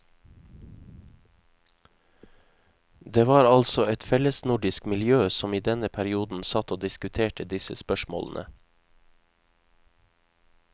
Det var altså et fellesnordisk miljø som i denne perioden satt og diskuterte disse spørsmålene.